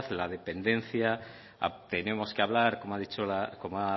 la descendencia tenemos que hablar como ha